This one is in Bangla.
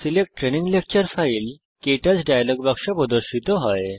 select training lecture file K touch dialogue বাক্স প্রদর্শিত হয়